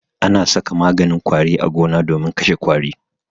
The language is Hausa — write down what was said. Ana saka maganin ƙwari a gona domin kashe ƙwari.